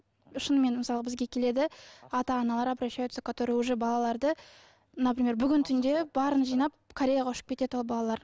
шынымен мысалы бізге келеді ата аналар обращаются которые уже балаларды например бүгін түнде барын жинап кореяға ұшып кетеді ол балалар